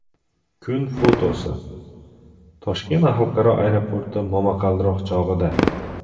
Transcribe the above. Kun fotosi: Toshkent xalqaro aeroporti momaqaldiroq chog‘ida.